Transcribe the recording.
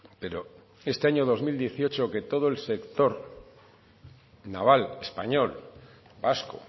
pero este año dos mil dieciocho que todo el sector naval español vasco